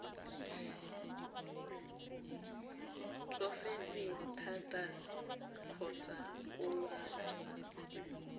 tsofetse thata kgotsa o lwala